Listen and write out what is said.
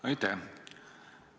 Aitäh!